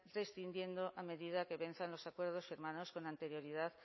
prescindiendo a medida que venzan los acuerdos firmados con anterioridad